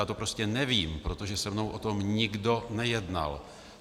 Já to prostě nevím, protože se mnou o tom nikdo nejednal.